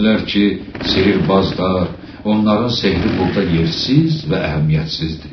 Deyirlər ki, sehrbazlar, onların sehri burda yersiz və əhəmiyyətsizdir.